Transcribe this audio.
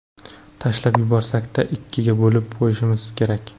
Tashlab yuborsak-da, ikkiga bo‘lib qo‘yishimiz kerak.